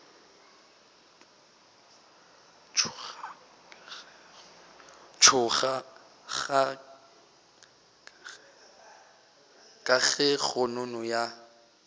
tšhoga ka ge kgonono ya